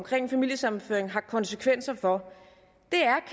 familiesammenføring har haft konsekvenser for